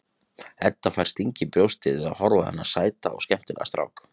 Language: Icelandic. Edda fær sting í brjóstið við að horfa á þennan sæta og skemmtilega strák.